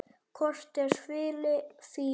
Kort er svili Fíu.